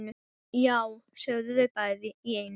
Já, sögðu þau bæði í einu.